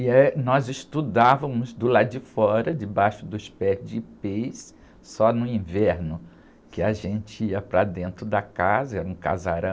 E, eh, nós estudávamos do lado de fora, debaixo dos pés de ipês, só no inverno, que a gente ia para dentro da casa, era um casarão,